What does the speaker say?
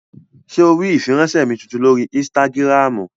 Ṣé o rí ìfiránsẹ́ mi tuntun lórí ínstágíráàmù?